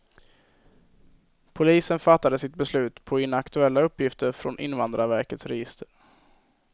Polisen fattade sitt beslut på inaktuella uppgifter från invandrarverkets register.